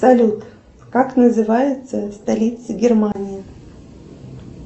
салют как называется столица германии